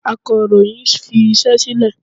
Akàròyìn fi iṣẹ́ sílè.